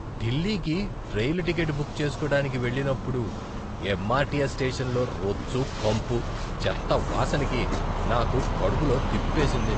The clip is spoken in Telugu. ఢిల్లీకి రైలు టికెట్ బుక్ చేసుకోడానికి వెళ్ళినప్పుడు ఎంఆర్టీఎస్ స్టేషన్లో రొచ్చు కంపు, చెత్త వాసనకి నాకు కడుపులో తిప్పేసింది.